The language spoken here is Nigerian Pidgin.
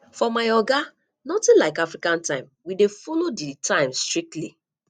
for my oga notin like african time we dey folo di time strictly